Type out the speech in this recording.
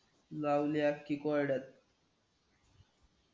लावली यार कि क वाड्यात